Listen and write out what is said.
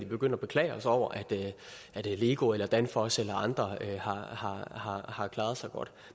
begynde at beklage os over at lego eller danfoss eller andre har klaret sig godt